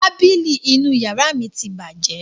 Tábìlì inú ìyàrá mi ti bàjẹ́.